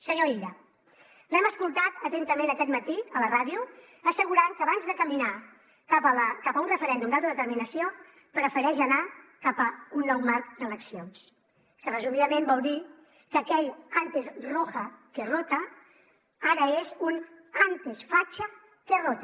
senyor illa l’hem escoltat atentament aquest matí a la ràdio assegurant que abans de caminar cap a un referèndum d’autodeterminació prefereix anar cap a un nou marc d’eleccions que resumidament vol dir que aquell antes roja que rotaara és un antes facha que rota